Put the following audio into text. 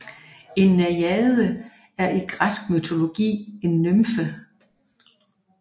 En najade er i græsk mytologi en nymfe